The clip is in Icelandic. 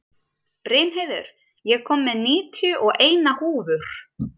Brynheiður, ég kom með níutíu og eina húfur!